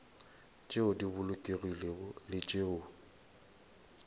tšeo di bolokegilego le tšeo